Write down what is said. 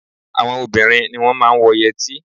Àwọn obìnrin ni wọ́n máa ń wọ yẹtí